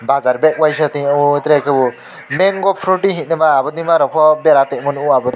bajar bag waisa tingyo tere kebo mango froti hingke ma botima rok po bera tongma nogo.